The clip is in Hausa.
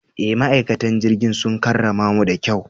E, ma'aikatan jirigin sun karramamu da kyau.